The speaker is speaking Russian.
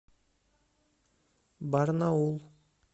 барнаул